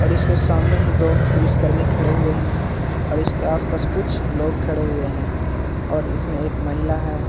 और इसके सामने ही दो पुलिस कर्मी खड़े हुए है और इसके आस-पास कुछ लोग खड़े हुए है और इसमें एक महिला है ।